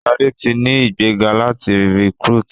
Shade tí ní ìgbéga láti recruit.